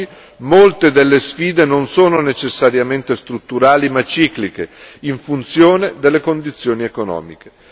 Oggi molte delle sfide non sono necessariamente strutturali ma cicliche, in funzione delle condizioni economiche.